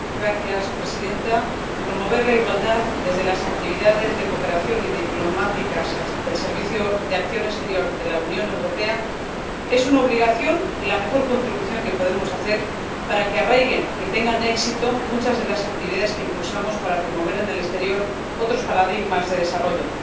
Señora presidenta, promover la igualdad desde las actividades de cooperación y diplomáticas del Servicio Europeo de Acción Exterior es una obligación y la mejor contribución que podemos hacer para que arraiguen y tengan éxito muchas de las actividades que impulsamos para promover en el exterior otros paradigmas de desarrollo.